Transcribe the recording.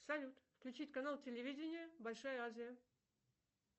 салют включить канал телевидения большая азия